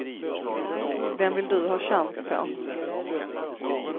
Vem vill du ha chans på?